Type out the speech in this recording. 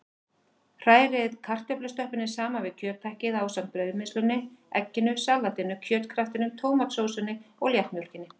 Hrærið kartöflustöppunni saman við kjöthakkið ásamt brauðmylsnunni, egginu, saltinu, kjötkraftinum, tómatsósunni og léttmjólkinni.